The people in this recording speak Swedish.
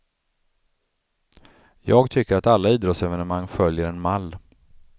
Jag tycker att alla idrottsevenemang följer en mall.